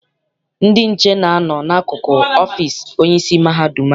Ndị nche na-a nọ n'akụkụ ọfịịsi onyeisi mahadum anyị.